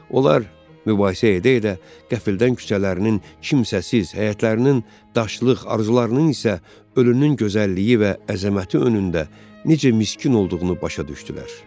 Onlar mübahisə edə-edə qəfildən küçələrinin kimsəsiz, həyətlərinin daşlıq, arzularının isə ölünün gözəlliyi və əzəməti önündə necə miskin olduğunu başa düşdülər.